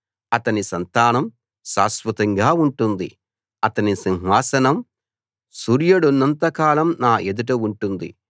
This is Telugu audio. అతని సంతానం శాశ్వతంగా ఉంటుంది అతని సింహాసనం సూర్యుడున్నంత కాలం నా ఎదుట ఉంటుంది